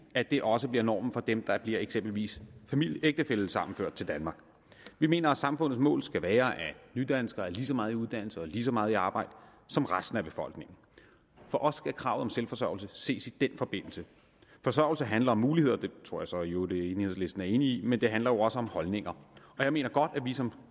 at det også bliver normen for dem der eksempelvis bliver ægtefællesammenført til danmark vi mener at samfundets mål skal være at nydanskere er lige så meget i uddannelse og lige så meget i arbejde som resten af befolkningen for os skal kravet om selvforsørgelse ses i den forbindelse forsørgelse handler om muligheder det tror jeg så i øvrigt enhedslisten er enig i men det handler jo også om holdninger jeg mener godt at vi som